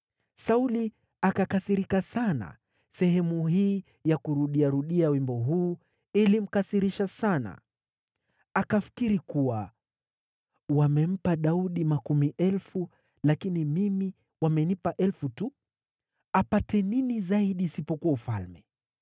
Sauli akakasirika sana; sehemu hii ya kurudia rudia ya wimbo huu ilimkasirisha sana. Akafikiri kuwa, “Wamempa Daudi makumi elfu, lakini mimi wamenipa elfu tu. Apate nini zaidi isipokuwa ufalme?”